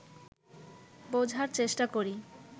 বোঝার চেষ্টা করি